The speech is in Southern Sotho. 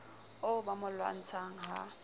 oo ba mo lwantshang ha